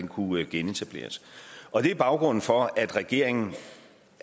kunne genetableres og det er baggrunden for at regeringen